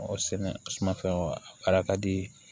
Ɔ sɛnɛfɛn wa a kala ka di